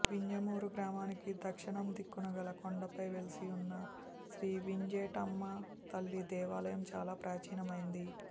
వింజమూరు గ్రామానికి దక్షిణం దిక్కున గల కొండపై వెలసియున్న శ్రీ వింజేటమ్మతల్లి దేవాలయం చాలా ప్రాచీనమైనది